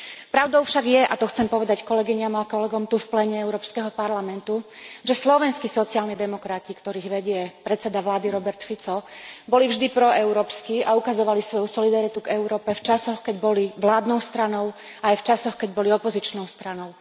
Pravdou však je, a to chcem povedať kolegyniam a kolegom tu v pléne Európskeho parlamentu, že slovenskí sociálni demokrati, ktorých vedie predseda vlády Robert Fico, boli vždy proeurópski a ukazovali svoju solidaritu k Európe v časoch, keď boli vládnou stranou, aj v časoch, keď boli opozičnou stranou.